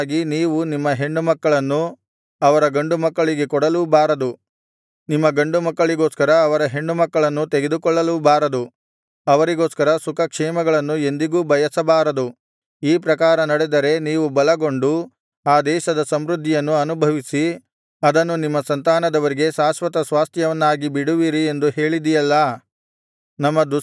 ಹೀಗಿರಲಾಗಿ ನೀವು ನಿಮ್ಮ ಹೆಣ್ಣುಮಕ್ಕಳನ್ನು ಅವರ ಗಂಡುಮಕ್ಕಳಿಗೆ ಕೊಡಲೂ ಬಾರದು ನಿಮ್ಮ ಗಂಡುಮಕ್ಕಳಿಗೋಸ್ಕರ ಅವರ ಹೆಣ್ಣು ಮಕ್ಕಳನ್ನು ತೆಗೆದುಕೊಳ್ಳಲೂ ಬಾರದು ಅವರಿಗೋಸ್ಕರ ಸುಖಕ್ಷೇಮಗಳನ್ನು ಎಂದಿಗೂ ಬಯಸಬಾರದು ಈ ಪ್ರಕಾರ ನಡೆದರೆ ನೀವು ಬಲಗೊಂಡು ಆ ದೇಶದ ಸಮೃದ್ಧಿಯನ್ನು ಅನುಭವಿಸಿ ಅದನ್ನು ನಿಮ್ಮ ಸಂತಾನದವರಿಗೆ ಶಾಶ್ವತಸ್ವಾಸ್ಥ್ಯವನ್ನಾಗಿ ಬಿಡುವಿರಿ ಎಂದು ಹೇಳಿದಿಯಲ್ಲಾ